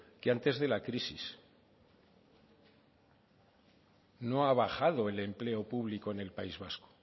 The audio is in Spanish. que antes de la crisis no ha bajado el empleo público en el país vasco